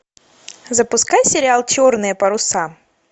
запускай сериал черные паруса